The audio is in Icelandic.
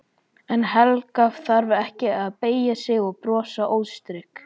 En Helga þarf ekki að beygja sig og brosa óstyrk.